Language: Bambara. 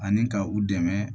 Ani ka u dɛmɛ